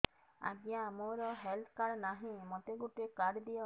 ଆଜ୍ଞା ମୋର health card ନାହିଁ ମୋତେ ଗୋଟେ କାର୍ଡ ଦିଅ